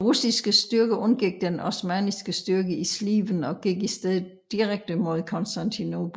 De russiske styrker undgik den osmanniske styrke i Sliven og gik i stedet direkte mod Konstantinopel